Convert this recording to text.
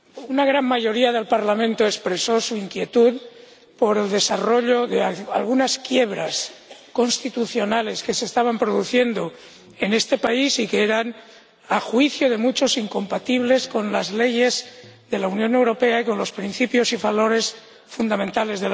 Una gran mayoría del Parlamento expresó su inquietud por el desarrollo de algunas quiebras constitucionales que se estaban produciendo en este país y que eran a juicio de muchos incompatibles con las leyes de la Unión Europea y con sus principios y valores fundamentales.